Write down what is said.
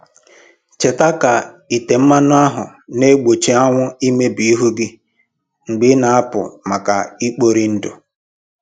Cheta ka ite mmanụ ahụ na-egbochi anwụ imebi ihu gị mgbe ị na-apụ maka ikpori ndụ